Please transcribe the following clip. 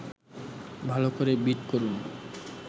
ভালো করে বিট করুন